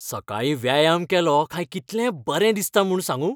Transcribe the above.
सकाळीं व्यायाम केलो काय कितलें बरें दिसता म्हूण सांगूं.